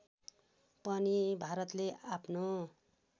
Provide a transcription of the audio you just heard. पनि भारतले आफ्नो